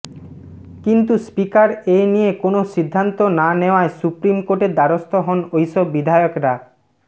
কিন্তু স্পিকার এনিয়ে কোনও সিদ্ধান্ত না নেওয়ায় সুপ্রিম কোর্টের দ্বারস্থ হন ওইসব বিধায়করা